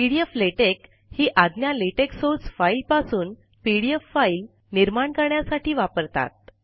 P D F LaTeX ही आज्ञा LaTeX source file पासून पी डी एफ फाइल निर्माण करण्यासाठी वापरतात